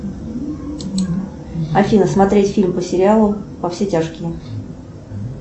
афина смотреть фильм по сериалу во все тяжкие